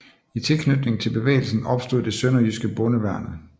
I tilknytning til bevægelsen opstod det sønderjyske Bondeværnet